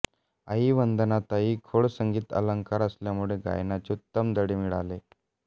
आई वंदनाताई खोंड संगीत अलंकार असल्यामुळे गायनाचे उत्तम धडे मिळाले